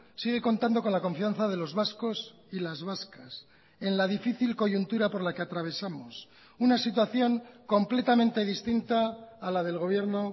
sigue contando con la confianza de los vascos y las vascas en la difícil coyuntura por la que atravesamos una situación completamente distinta a la del gobierno